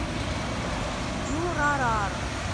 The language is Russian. дюрарара